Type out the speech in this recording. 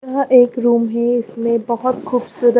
यह एक रूम है इसमें बहुत खूबसूरत --